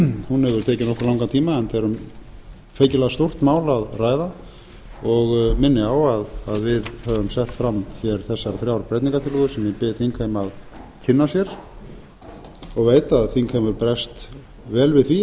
hún hefur tekið nokkuð langan tíma enda er um feikilega stórt mál að ræða og minni á að við höfum sett fram hér þessar þrjár breytingartillögu sem ég bið þingheim að kynna sér og veit að þingheimur bregst vel við því